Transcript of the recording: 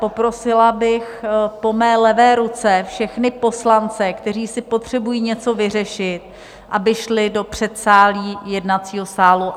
Poprosila bych po mé levé ruce všechny poslance, kteří si potřebují něco vyřešit, aby šli do předsálí jednacího sálu.